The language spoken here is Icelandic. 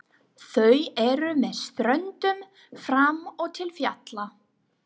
Þau eru með ströndum fram og til fjalla.